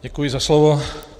Děkuji za slovo.